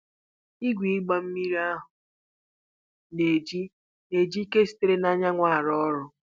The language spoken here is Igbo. Igwe ịgba mmiri ahụ na-eji na-eji ike sitere na anyanwụ arụ ọrụ.